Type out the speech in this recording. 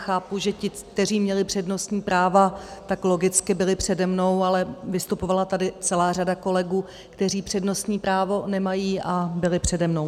Chápu, že ti, kteří měli přednostní práva, tak logicky byli přede mnou, ale vystupovala tady celá řada kolegů, kteří přednostní právo nemají, a byli přede mnou.